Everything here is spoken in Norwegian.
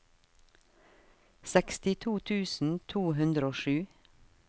sekstito tusen to hundre og sju